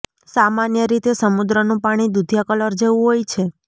સામાન્ય રીતે સમુદ્રનું પાણી દુધિયા કલર જેવું હોય છે